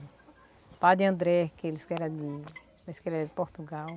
O padre André, aqueles que era de... aqueles que era de Portugal.